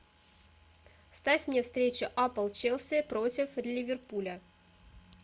ставь мне встречу апл челси против ливерпуля